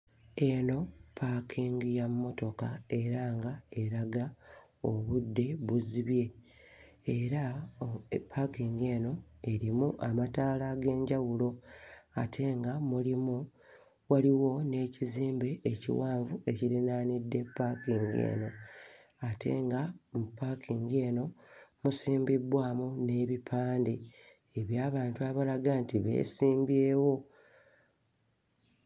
Eno paakingi ya mmotoka era nga eraga obudde buzibye era paakingi eno erimu amataala ag'enjawulo ate nga mulimu waliwo n'ekizimbe ekiwanvu ekirinaanidde paakingi eno ate nga mu paakingi eno musimbibbwamu n'ebipande eby'abantu abalaga nti beesimbyewo.